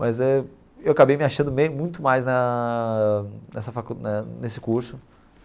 Mas eu acabei me achando bem muito mais na nessa facul na nesse curso.